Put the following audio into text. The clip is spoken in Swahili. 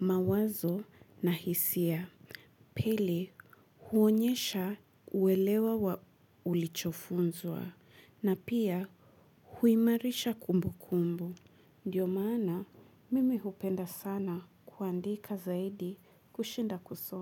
mawazo na hisia. Pili huonyesha uelewa wa ulichofunzwa na pia huimarisha kumbukumbu. Ndiyo maana mimi hupenda sana kuandika zaidi kushinda kusoma.